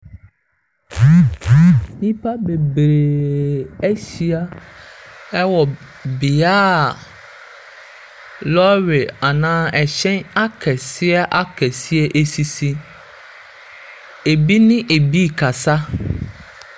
Nnipa bebree ahyia ɛwɔ beaeɛ lɔre anaa ɛhyɛn akɛseɛ akɛseɛ esisi. Ebi ne ebi kasa.